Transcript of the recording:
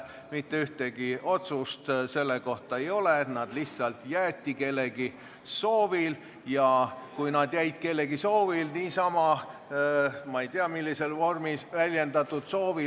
Mitte ühtegi otsust selle kohta ei ole, nad lihtsalt jäeti sinna kellegi soovil – niisama, ma ei tea, millises vormis väljendatud soovil.